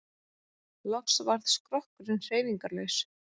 Loks varð skrokkurinn hreyfingarlaus.